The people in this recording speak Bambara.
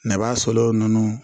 Nɛgɛbaa sɔlɛw nɔnɔ